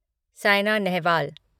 सैना Nehwal